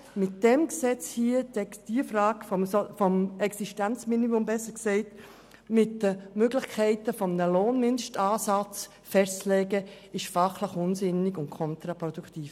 Mit diesem Gesetz das Existenzminimum, besser gesagt, die Möglichkeit eines Lohnmindestansatzes festzulegen, ist fachlich unsinnig und kontraproduktiv.